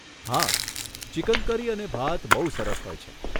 હા, chicken curry અને ભાત બહુ સરસ હોય છે.